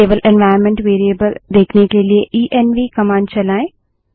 केवल environment variables देखने के लिए इएनवी कमांड चलायें